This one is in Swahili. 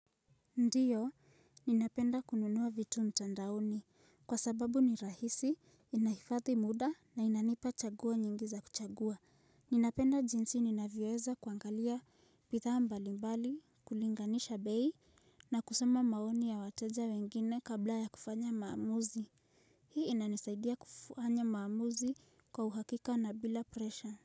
Ndiyo ninapenda kununua vitu mtandaoni kwa sababu ni rahisi inahifadhi muda na inanipa chaguo nyingi za kuchagua. Ninapenda jinsi ninavyoweza kuangalia bidhaa mbalimbali kulinganisha bei na kusema maoni ya wateja wengine kabla ya kufanya maamuzi. Hii inanisaidia kufanya maamuzi kwa uhakika na bila presha.